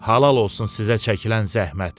Halal olsun sizə çəkilən zəhmət.